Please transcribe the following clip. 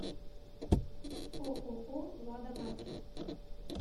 ооо лада маркет